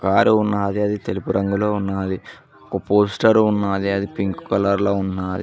Car ఉన్నాది అది తెలుపు రంగులో ఉన్నాది ఒక పోస్టరు ఉన్నాది అది పింక్ కలర్ లో ఉన్నాది.